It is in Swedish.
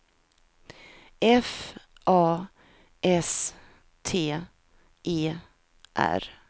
F A S T E R